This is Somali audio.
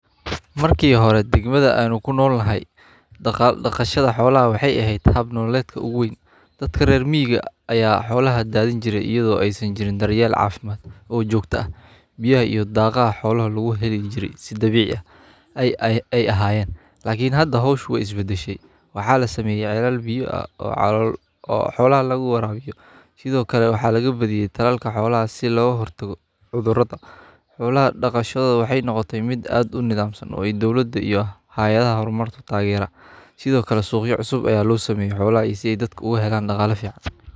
Markii hore degmada aanu ku noolnahay dhaqashada xoolaha waxay ahayd haab nololeedka ugu weyn dadka reer miyiga ayaa xoolaha daadan jiray iyadoo aysan jirin daryeel caafimaad oo joogta ah biyaha iyo daaqaha xoolaha lagu heli jiray si dabiici ah ay ay ahaayeen laakiin hada hawsha wa isibadeshe waxaa la sameeyay caleel biyo ah oo xoolo ah lagu waraabiyo sidoo kale waxaa laga badiyay tallaalka xoolaha si loo hortago cudurrada. Xoolaha dhaqashada waxay noqotay mid aad u nidaamsan oo ay dawladda iyo hayaadaha horumarta taageero. Sidoo kale suuqyo cusub ayaa loo sameeyay xoolo ah isagoo dadka uga helaan dhaqaale fiican.